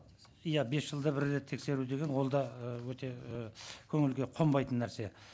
иә бес жылда бір рет тексеру деген ол да ы өте ііі көңілге қонбайтын нәрсе